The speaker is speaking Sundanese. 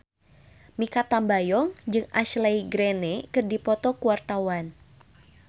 Mikha Tambayong jeung Ashley Greene keur dipoto ku wartawan